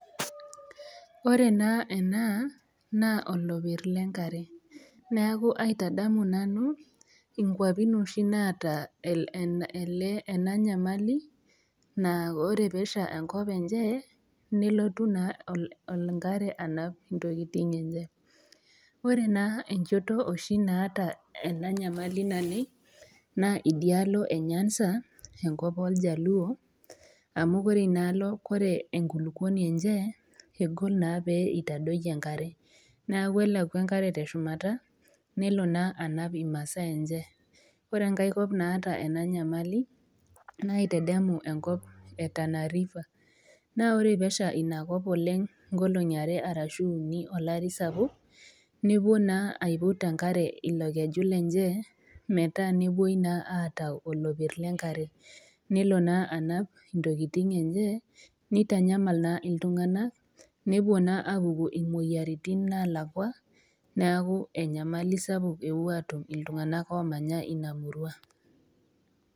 Ore naa ena naa oloper le enkare, neaku aitadamu nanu, inkwapi oshi naata ena nyamali naa ore pee esha enkop enye, nelotu naa enkare anap intokitin enye, ore naa enchoto oshi naata ena nyamali naleng' naa idialo e nyanza, enko oo iljaluo amu ore inaalo ore enkulukuoni enye egol naa pee eitadoyio enkare, neaku elo naa enkare aleku te shumata, nelo naa anap imasaa enye, ore enkai kop naata ena nyamali naa aitedemu enkop e Tana river, naa ore pee esha inakop olari sapuk inkoolong'i are anaa uni, nepuo naa aiput enkare ilo keju lenye, metaa nepuoi naa aitayu oloper le enkare, nepuo naa iltung'ana intokitin enye, neitanyamal iltung'ana nepuo naa apuku imoyaritin kumok napaasha neaku enyamali sapuk epuo aatum iltung'ana oomanya Ina murua.